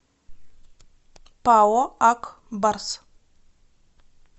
пао ак барс